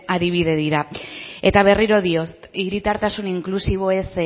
adibide dira eta berriro diot hiritartasun inklusiboez